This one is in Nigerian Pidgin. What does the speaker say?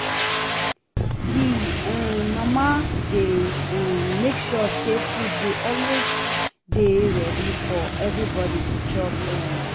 Di um mama dey um make sure sey food dey always dey ready for everybodi to chop um